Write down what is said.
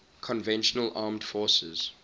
conventional armed forces